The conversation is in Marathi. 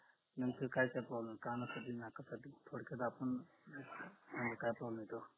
नेमकी काय काय problem ये कानाचा की नाकाचा आपण आणि काय problem आहे